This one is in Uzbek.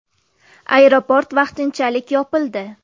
Aeroport vaqtinchalik yopildi.